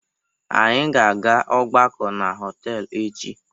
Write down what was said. Anyị ga-aga ọgbakọ na họtelụ echi.